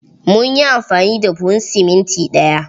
Mun yi amfani da buhun siminti ɗaya.